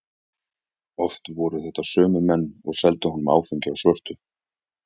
Oft voru þetta sömu menn og seldu honum áfengi á svörtu.